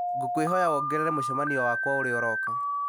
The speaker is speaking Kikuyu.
ngũkwĩhoya wongerere mũcemanio wakwa ũrĩa ũrooka